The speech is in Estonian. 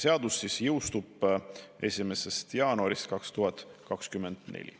Seadus jõustuks 1. jaanuaril 2024.